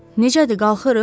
Necədir, qalxırıq?